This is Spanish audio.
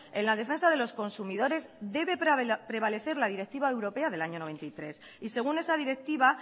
en la defensa de los consumidores debe prevalecer la directiva europea del año mil novecientos noventa y tres y según esa directiva